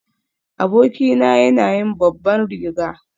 Abokina yana yin babban riga.